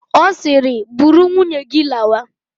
Ọ siiri, buru nwunye gị lawa!